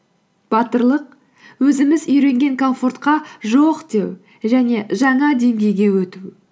батырлық өзіміз үйренген комфортқа жоқ деу және жаңа деңгейге өту